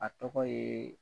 A tɔgɔ ye